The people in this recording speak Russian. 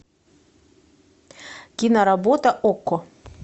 киноработа окко